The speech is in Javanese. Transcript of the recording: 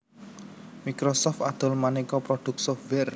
Microsoft adol manéka prodhuk software